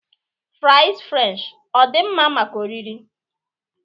fries french ọ dị mma maka oriri?